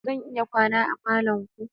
Zan iya kwana a falon ku?